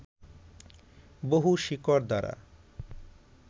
বহু শিকড় দ্বারা